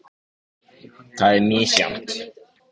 Það er misjafnt.